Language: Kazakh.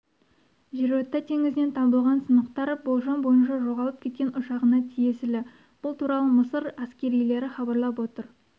жерорта теңізінен табылған сынықтар болжам бойынша жоғалып кеткен ұшағына тиесілі бұл туралы мысыр әскерилері хабарлап отыр